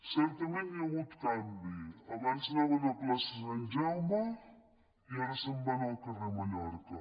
certament hi ha hagut canvi abans anaven a plaça sant jaume i ara se’n van al carrer mallorca